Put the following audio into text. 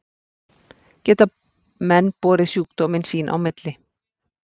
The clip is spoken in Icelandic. geta menn borið sjúkdóminn sín á milli